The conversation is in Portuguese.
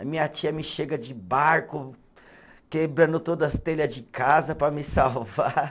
A minha tia me chega de barco quebrando todas as telhas de casa para me salvar.